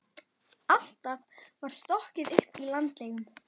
Alltaf var stokkað upp í landlegum.